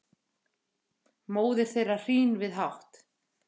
móðir þeirra hrín við hátt